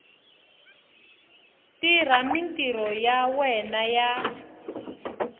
tirha mintirho ya yena ya